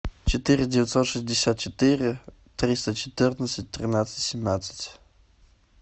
четыре девятьсот шестьдесят четыре триста четырнадцать тринадцать семнадцать